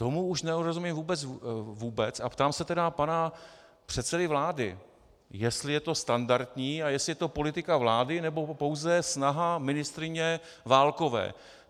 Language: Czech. Tomu už nerozumím vůbec, a ptám se tedy pana předsedy vlády, jestli je to standardní a jestli je to politika vlády, nebo pouze snaha ministryně Válkové.